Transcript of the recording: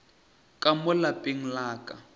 ka mo lapeng la ka